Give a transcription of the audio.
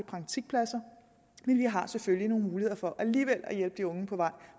praktikpladser vi har selvfølgelig nogle muligheder for alligevel at hjælpe de unge på vej